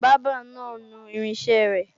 Bábà náà nu irinṣẹ́ rẹ